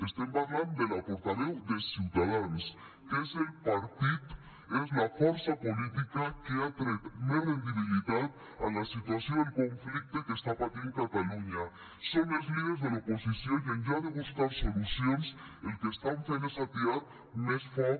estem parlant de la portaveu de ciutadans que és el partit és la força política que ha tret més rendibilitat de la situació del conflicte que està patint catalunya són els líders de l’oposició i enlloc de buscar solucions el que estan fent és atiar més foc